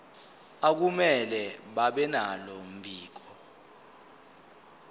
akumele babenalo mbiko